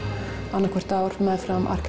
annað hvert ár meðfram